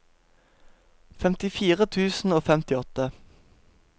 femtifire tusen og femtiåtte